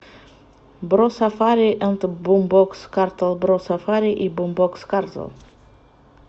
бро сафари энд бумбокс картел бро сафари и бумбокс картел